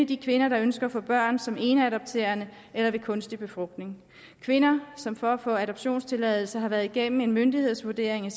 de kvinder der ønsker at få børn som eneadoptant eller ved kunstig befrugtning kvinder som for at få adoptionstilladelse har været igennem en myndighedsvurdering af